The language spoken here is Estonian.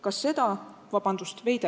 Kas seda – vabandust!